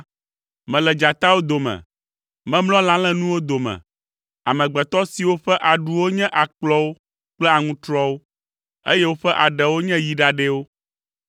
Mele dzatawo dome, memlɔ lã lénuwo dome, amegbetɔ siwo ƒe aɖuwo nye akplɔwo kple aŋutrɔwo, eye woƒe aɖewo nye yi ɖaɖɛwo.